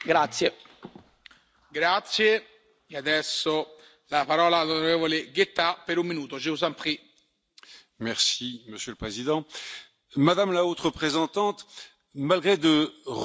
Monsieur le Président, Madame la Haute représentante, malgré de remarquables efforts qui vous honorent et plusieurs succès dont il faut vous féliciter, la diplomatie européenne peine